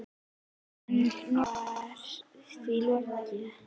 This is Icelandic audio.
En nú var því líka lokið.